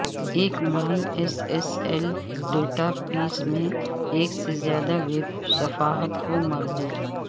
ایک my S S L database میں ایک سے زیادہ ویب صفحات کو مربوط